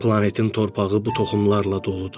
Planetin torpağı bu toxumlarla doludur.